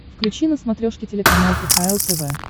включи на смотрешке телеканал кхл тв